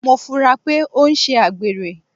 Mo funra pé o n sé àgbèrè